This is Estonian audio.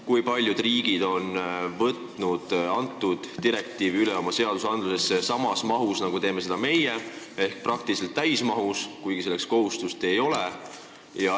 Kui paljud riigid on selle direktiivi oma õigusaktidesse üle võtnud samas mahus, nagu teeme seda meie, ehk praktiliselt täismahus, kuigi sellist kohustust ei ole?